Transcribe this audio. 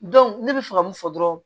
ne bɛ fɛ ka mun fɔ dɔrɔn